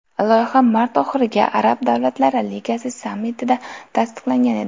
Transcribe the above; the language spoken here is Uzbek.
Loyiha mart oxiridagi Arab davlatlari ligasi sammitida tasdiqlangan edi.